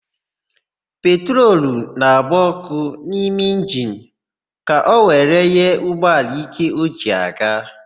Petrolu na-agba ọ́kụ́ n'ime injini ka o were nye ụgbọala íké o ji aga.